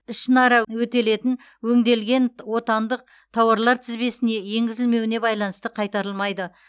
ішінара өтелетін өңделген отандық тауарлар тізбесіне енгізілмеуіне байланысты қайтарылмайды